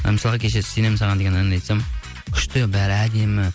ы мысалы кеше сенемін саған деген әнді айтсам күшті бәрі әдемі